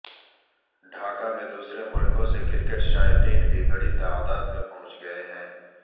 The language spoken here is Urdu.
ڈھاکہ میں دوسرے ملکوں سے کرکٹ شائقین بھی بڑی تعداد میں پہنچ گئے ہیں